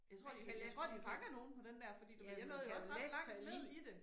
Jeg tror de, jeg tror de fanger nogen på den der fordi du ved jeg nåede jo også ret langt ned i det